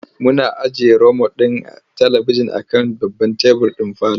Muna ajiye romot ɗin talibijin a kan babban tebur ɗin parlour.